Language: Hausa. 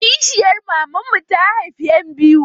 Kishiyar maman mu ta haifa ƴan biyu.